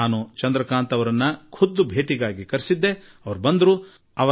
ನಾನು ಚಂದ್ರಕಾಂತ್ ಜೀ ಅವರನ್ನು ಖುದ್ದಾಗಿ ಕರೆಸಿಕೊಂಡೆ ಅವರನ್ನು ಭೇಟಿಯಾದೆ